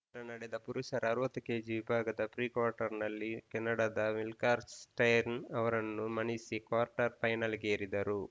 ಶನಿವಾರ ನಡೆದ ಪುರುಷರ ಅರವತ್ತು ಕೆಜಿ ವಿಭಾಗದ ಪ್ರಿಕ್ವಾರ್ಟರ್‌ನಲ್ಲಿ ಕೆನಡಾದ ವಿಲ್ಕಾಕ್ಸ್‌ ಸ್ಪೆನ್ಸರ್‌ ಅವರನ್ನು ಮಣಿಸಿ ಕ್ವಾರ್ಟರ್‌ ಫೈನಲ್‌ಗೇರಿದರು